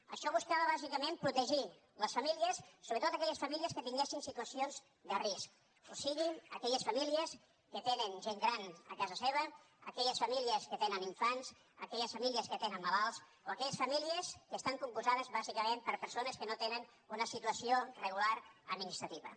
això buscava bàsicament protegir les famílies sobretot aquelles famílies que tinguessin situacions de risc o sigui aquelles famílies que tenen gent gran a casa seva aquelles famílies que tenen infants aquelles famílies que tenen malalts o aquelles famílies que estan compostes bàsicament per persones que no tenen una situació regular administrativa